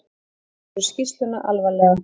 Taka verður skýrsluna alvarlega